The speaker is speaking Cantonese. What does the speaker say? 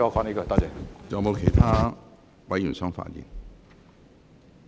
是否有其他委員想發言？